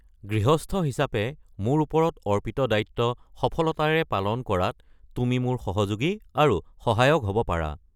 গৃহস্থ হিচাপে মোৰ ওপৰত অৰ্পিত দায়িত্ব সফলতাৰে পালন কৰাত তুমি মোৰ সহযোগী আৰু সহায়ক হ’ব পাৰা।